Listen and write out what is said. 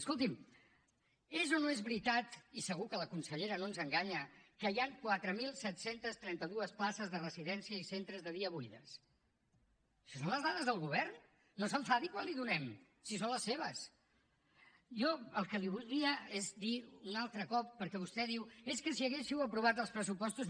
escolti’m és o no és veritat i segur que la consellera no ens enganya que hi han quatre mil set cents i trenta dos places de residència i centres de dia buides això són les dades del govern no s’enfadi quan les hi donem si són les seves jo el que li voldria és dir un altre cop perquè vostè diu és que si haguéssiu aprovat els pressupostos